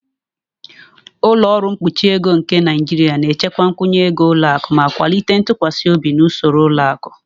"Ụlọ ọrụ mkpuchi ego nke Naijiria (NDIC) na-echekwa nkwụnye ego ụlọ akụ ma kwalite ntụkwasị obi na usoro ụlọ akụ. "